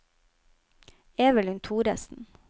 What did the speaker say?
Evelyn Thoresen